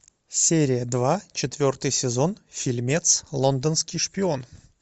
серия два четвертый сезон фильмец лондонский шпион